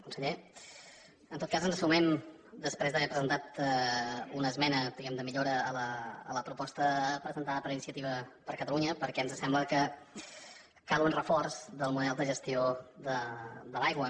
conseller en tot cas ens hi sumem després d’haver presentat una esmena diguem ne de millora a la proposta presentada per iniciativa per catalunya perquè ens sembla que cal un reforç del model de gestió de l’aigua